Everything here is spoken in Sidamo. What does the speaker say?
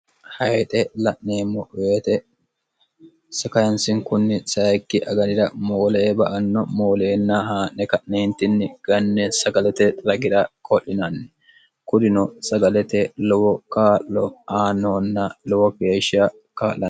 hayixe la'neemmo woyete skyansinkunni sayikki aganira moole e ba anno mooleenna haa'ne ka'neentinni ganne sagalete ragi'ra ko'linanni kudino sagalete lowo kaa'lo aanoonna lowo keeshsha kaal'an